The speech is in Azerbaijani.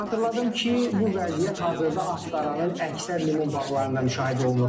Xatırladım ki, bu vəziyyət hazırda Astaranın əksər limon bağlarında müşahidə olunur.